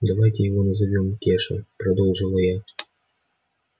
давайте его назовём кеша предложила я